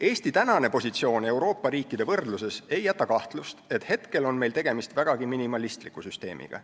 Eesti praegune positsioon Euroopa riikide võrdluses ei jäta kahtlust, et hetkel on meil tegemist vägagi minimalistliku süsteemiga.